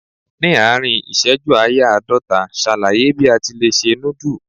Ní àárín ìṣẹ́jú ááyá àádọ́ta, ṣàlàyé bí a ti lè se núdù?